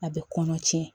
A bɛ kɔnɔ tiɲɛ